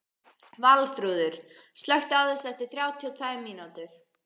Valþrúður, slökktu á þessu eftir þrjátíu og tvær mínútur.